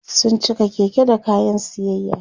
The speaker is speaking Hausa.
sun cika Keke da kayan siyayya